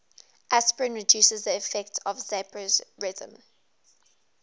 aspirin reduces the effects of vasopressin